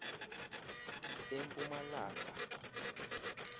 empumalanga